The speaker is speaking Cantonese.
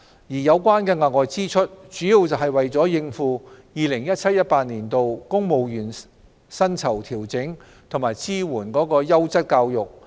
有關的額外支出，主要是為了應付 2017-2018 年度公務員薪酬調整及支援優質教育。